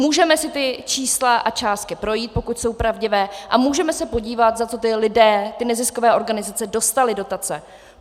Můžeme si ta čísla a částky projít, pokud jsou pravdivé, a můžeme se podívat, za co ti lidé, ty neziskové organizace, dostali dotace.